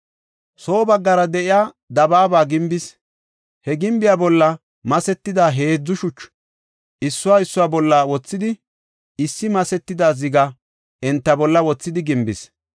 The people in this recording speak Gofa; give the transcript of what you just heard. Soo baggara de7iya dabaaba gimbis; he gimbiya bolla masetida heedzu shuchu, issuwa issuwa bolla wothidi, issi masetida ziga enta bolla wothidi gimbis.